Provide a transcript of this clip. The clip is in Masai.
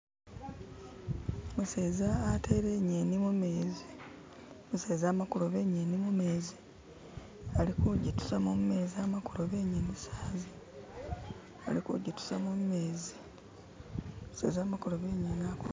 Umuseza atele inyeni mumezi umuseza ama kuloba inyeni mumezi ali kujitusamo mumezi ama kuoba inyeni sahazi alikujitusamo mumezi umuseza amakuloba inyeni